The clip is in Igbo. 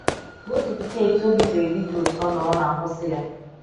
Gosiputa etú obi siri di gị ụtọ na ọ na - akwụsị ya.